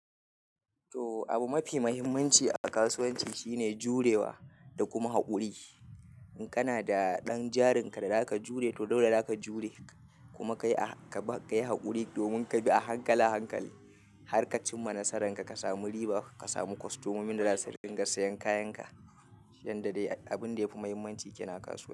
To, abu mafi muhimmanci a kasuwanci shine jurewa da kuma haƙuri. In kana da ɗan jarinka da zaka jure, to dole za ka jure kuma ka yi, ka yi haƙuri domin ka bi a hankala hankali, har ka cimma nasararka, ka sami riba, ka samu kostomomi da za su dinga sayen kayanka, shine dai dai abin da yafi muhimmanci ke nan a kasuwa.